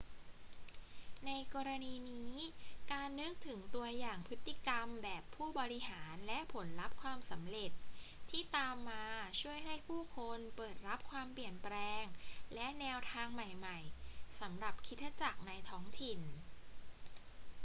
ในกรณีนี้ การนึกถึงตัวอย่างพฤติกรรมแบบผู้บริหารและผลลัพธ์ความสำเร็จที่ตามมาช่วยให้ผู้คนเปิดรับความเปลี่ยนแปลงและแนวทางใหม่ๆ สำหรับคริสตจักรในท้องถิ่น